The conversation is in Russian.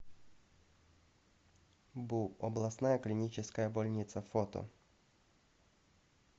бу областная клиническая больница фото